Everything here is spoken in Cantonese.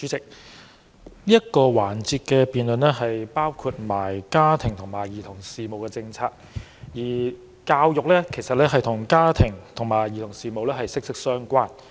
主席，這個辯論環節的範圍涵蓋家庭及兒童事務政策，而教育則是與家庭和兒童事務息息相關。